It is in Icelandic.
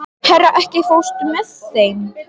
Hera, ekki fórstu með þeim?